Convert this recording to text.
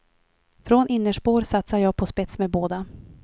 Från innerspår satsar jag på spets med båda.